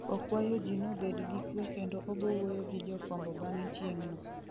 Okwayo ji nobed gi kwe kendo obowuoyo gi jofwambo bang'e cheng'no